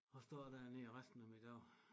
At stå dernede resten af mine dage